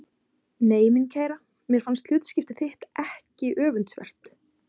Nei mín kæra, mér finnst hlutskipti þitt ekki öfundsvert.